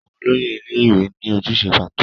Àwọn olóyè ilé-ìwé ní ojúṣe pàtó.